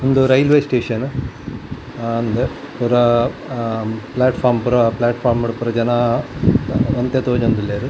ಉಂದು railway station ಅಹ್ ಅಂದ್ ಪುರಾ ಅಹ್ ಪ್ಲೇಟ್ ಫೋರ್ಮ್ ಪುರಾ ಪ್ಲೇಟ್ ಫೋರ್ಮ್ಡು ಪುರ ಜನಾ ಒಂತೆ ತೋಜೊಂದುಲ್ಲೆರ್.